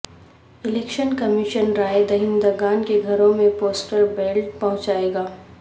election commission رائے دہندگان کے گھروں میں پوسٹل بیلٹ پہنچائے گا